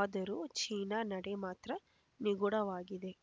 ಆದರೂ ಚೀನಾ ನಡೆ ಮಾತ್ರ ನಿಗೂಢವಾಗಿದೆ